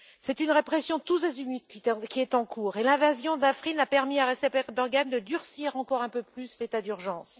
C'est une répression tous azimuts qui est en cours et l'invasion d'Afrine a permis à Recep Erdogan de durcir encore un peu plus l'état d'urgence.